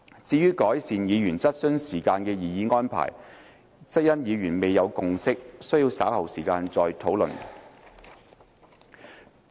至於改善議員質詢時間的擬議安排，則因議員未有共識，需於稍後再作討論。